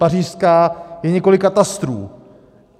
Pařížská je několik katastrů.